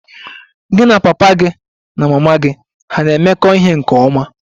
Gị na papa gị na mama gị hà na-emekọ ihe nke ọma?